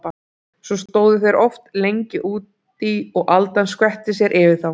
Svo stóðu þeir oft lengi út í og aldan skvetti sér yfir þá.